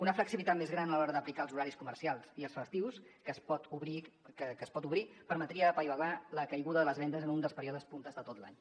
una flexibilitat més gran a l’hora d’aplicar els horaris comercials i els festius que es pot obrir permetria apaivagar la caiguda de les vendes en un dels períodes punta de tot l’any